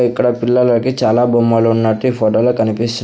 ఇక్కడ పిల్లలకి చాలా బొమ్మలు ఉన్నట్టు ఈ ఫోటో లో కనిపిస్తు--